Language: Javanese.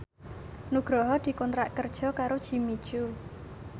Nugroho dikontrak kerja karo Jimmy Coo